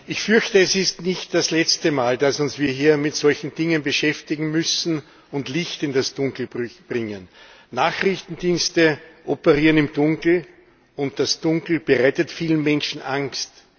Ich fürchte, es ist nicht das letzte Mal, dass wir uns hier mit solchen Dingen beschäftigen und Licht in das Dunkel bringen müssen. Nachrichtendienste operieren im Dunkeln, und das Dunkel bereitet vielen Menschen Angst.